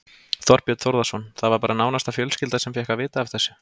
Þorbjörn Þórðarson: Það var bara nánasta fjölskylda sem fékk að vita af þessu?